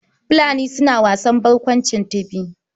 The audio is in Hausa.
Fulani suna wasan barkwanci Tibi.